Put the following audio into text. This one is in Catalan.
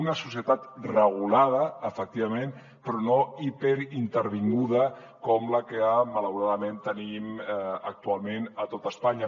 una societat regulada efecti vament però no hiperintervinguda com la que malauradament tenim actualment a tot espanya